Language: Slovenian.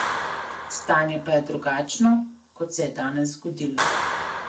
Stanje pa je drugačno, kot se je danes zgodilo.